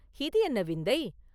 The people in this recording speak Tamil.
இது என்ன விந்தை!